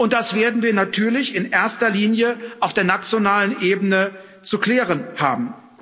Das werden wir natürlich in erster Linie auf der nationalen Ebene zu klären haben.